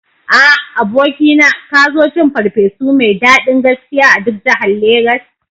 A, abokina, ka zo cin ferfesu mai daɗin gaskiya a duk jahar lagos